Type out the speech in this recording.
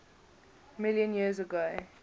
million years ago